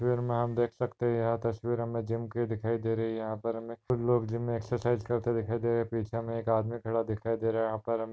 वीर मे आप देख सकते है यहा तस्वीर हमे जिम की दिखाई दे रही है यहा पर हमे कुछ लोग जिम मे एक्सर्साइज़ करते दिखाई दे रहे है पीछे हमे एक आदमी खड़ा दिखाई दे रहा है यहा पर हमे--